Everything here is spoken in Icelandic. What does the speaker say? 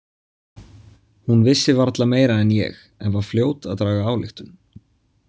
Hún vissi varla meira en ég en var fljót að draga ályktun.